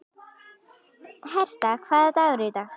Herta, hvaða dagur er í dag?